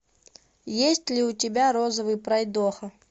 есть ли у тебя розовый пройдоха